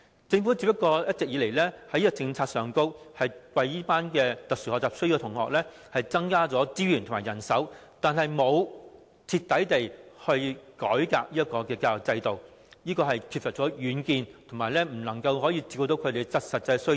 一直以來，政府只是在現有政策下為這群有特殊學習需要的學童增加資源和人手，但卻沒有徹底改革教育制度，缺乏遠見，亦未能照顧他們的實際需要。